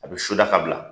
A bɛ soda ka bila